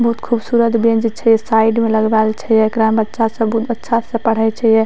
बोहुत खूबसूरत बेंच छै साइड में लगवाएल छै एकरा में बच्चा सब बहुत अच्छा से पढ़य छैये।